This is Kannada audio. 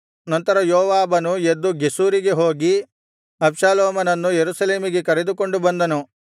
ನಂತರ ಯೋವಾಬನು ಎದ್ದು ಗೆಷೂರಿಗೆ ಹೋಗಿ ಅಬ್ಷಾಲೋಮನನ್ನು ಯೆರೂಸಲೇಮಿಗೆ ಕರೆದುಕೊಂಡು ಬಂದನು